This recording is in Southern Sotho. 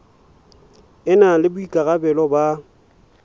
e na le boikarabelo ba